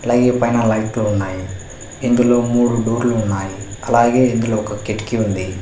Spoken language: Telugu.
అలాగే పైన లైట్లు ఉన్నాయి ఇందులో మూడు డోర్లు ఉన్నాయి అలాగే ఇందులో ఒక కిటికీ ఉంది.